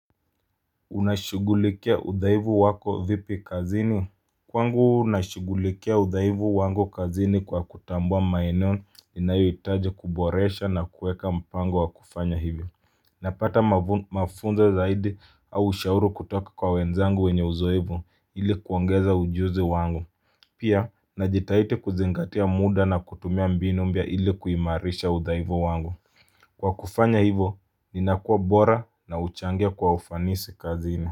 Unashugulikia udhaivu wako vipi kazini Kwangu nashugulikia udhaivu wangu kazini kwa kutambua maeneo inayotaje kuboresha na kuweka mpango wa kufanya hivyo Napata mafu mafunza zaidi au ushauru kutoka kwa wenzangu wenye uzoevu ili kuongeza ujuzi wangu Pia najitahitidi kuzingatia muda na kutumia mbinu mpya ili kuimarisha udhaivu wangu Kwa kufanya hivyo ninakua bora na huchangia kwa ufanisi kazini.